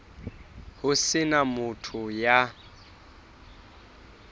ho se na motho ya